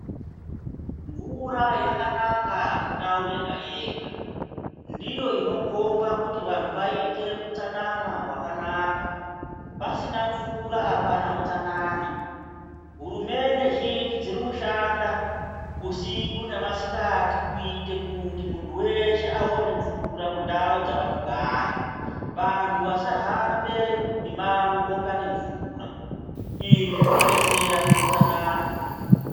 Mvura yakanaka mundau yega yega ndiyo ino komba kuti vantu vaite utsanana hwakanaka pasina mvura apana utsanana hurumende zhinji dziri kushanda usiku ne masikati kuite kuti muntu weshe awone mvura mu ndau dzavano gara vantu vasa hambe mi mango ko tsvake mvura izvi zvino detsera mu utsanana.